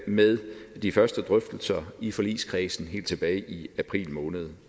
med de første drøftelser i forligskredsen helt tilbage i april måned